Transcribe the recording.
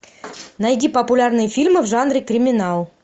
найди популярные фильмы в жанре криминал